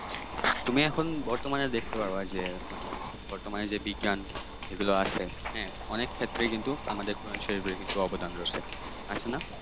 তুমি এখন বর্তমানে দেখতে পারবা যে মানে বর্তমানে যে বিজ্ঞান এগুলা হ্যাঁ আছে অনেক ক্ষেত্রেই কিন্তু আমাদের কোরআন শরীফের কিন্তু অবদান রয়েছে আছে না?